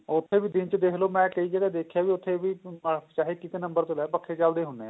ਉੱਥੇ ਵੀ ਦਿਨ ਚ ਦੇਖਲੋ ਮੈਂ ਕਈ ਜਗ੍ਹਾ ਦੇਖਿਆ ਵੀ ਉੱਥੇ ਵੀ ਚਾਹੇ ਇੱਕ ਨੰਬਰ ਤੇ ਲਾਏ ਪੱਖੇ ਚਲਦੇ ਹੁੰਦੇ ਨੇ